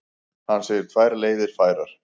Hann segir tvær leiðir færar.